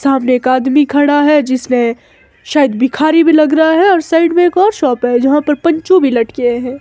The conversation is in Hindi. सामने एक आदमी खड़ा है जिसने शायद भिखारी भी लग रहा है और साइड में एक और शॉप है जहां पर पंचो भी लटके हैं।